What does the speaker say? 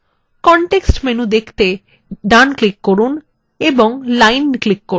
context menu দেখতে ডান click করুন এবং line click করুন